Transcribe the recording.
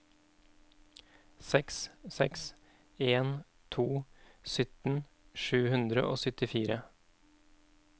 seks seks en to sytten sju hundre og syttifire